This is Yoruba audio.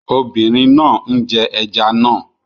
Obìnrin náà ń jẹ ẹja náà